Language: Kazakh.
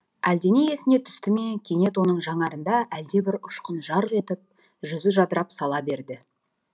әлдене есіне түсті ме кенет оның жанарында әлдебір ұшқын жарқ етіп жүзі жадырап сала берді